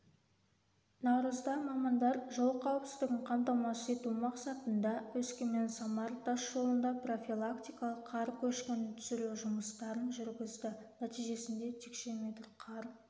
наурызда мамандар жол қауіпсіздігін қамтамасыз ету мақсатында өскеменсамар тас жолында профилактикалық қар көшкінін түсіру жұмыстарын жүргізді нәтижесінде текше метр қар